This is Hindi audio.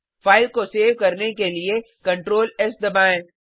फाइल को सेव करने के लिए Ctrl एस दबाएँ